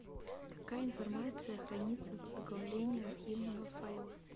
какая информация хранится в оглавлении архивного файла